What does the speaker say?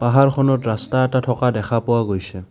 পাহাৰখনত ৰাস্তা এটা থকা দেখা পোৱা গৈছে।